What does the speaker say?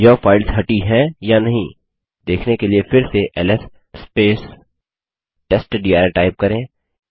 यह फाइल्स हटी हैं या नहीं देखने के लिए फिर से एलएस टेस्टडिर टाइप करें